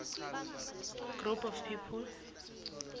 group of people